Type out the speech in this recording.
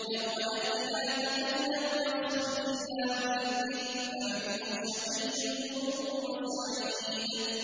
يَوْمَ يَأْتِ لَا تَكَلَّمُ نَفْسٌ إِلَّا بِإِذْنِهِ ۚ فَمِنْهُمْ شَقِيٌّ وَسَعِيدٌ